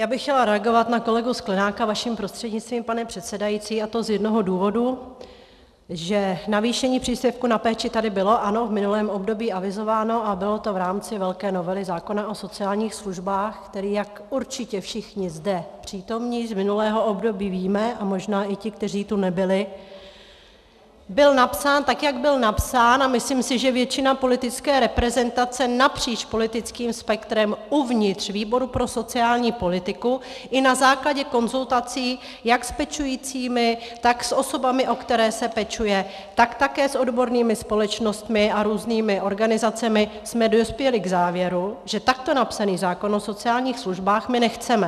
Já bych chtěla reagovat na kolegu Sklenáka vaší prostřednictvím, pane předsedající, a to z jednoho důvodu, že navýšení příspěvku na péči tady bylo, ano, v minulém období avizováno a bylo to v rámci velké novely zákona o sociálních službách, který, jak určitě všichni zde přítomní z minulého období víme, a možná i ti, kteří tu nebyli, byl napsán tak, jak byl napsán, a myslím si, že většina politické reprezentace napříč politickým spektrem uvnitř výboru pro sociální politiku i na základě konzultací jak s pečujícími, tak s osobami, o které se pečuje, tak také s odbornými společnostmi a různými organizacemi jsme dospěli k závěru, že takto napsaný zákon o sociálních službách my nechceme.